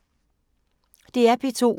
DR P2